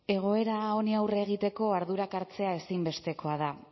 egoera honi aurre egiteko ardurak hartzea ezinbestekoa da